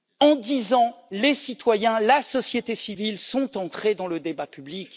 En dix ans, les citoyens, la société civile sont entrés dans le débat public.